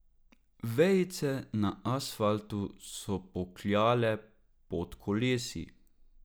Vejice na asfaltu so pokljale pod kolesi.